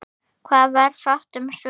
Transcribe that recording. Varð fátt um svör.